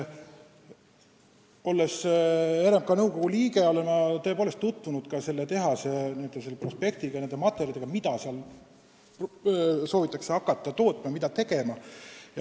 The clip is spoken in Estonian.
Olles RMK nõukogu liige, olen ma tutvunud ka selle tehase n-ö prospektiga, materjalidega selle kohta, mida seal soovitakse hakata tootma, mida tegema.